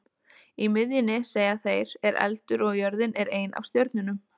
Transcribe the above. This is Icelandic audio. Í miðjunni, segja þeir, er eldur og jörðin er ein af stjörnunum.